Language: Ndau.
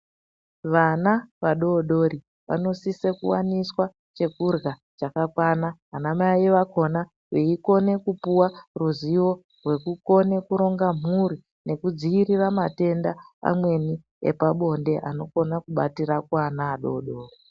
Vana vadodori vanosisa kuwaniswa chekurya chakakwana. Anamai akhona eikona kupuwa ruzivo rwekukona kuronga mhuri, nekudziirira matenda amweni epabonde, anokone kubatira kuana adodori.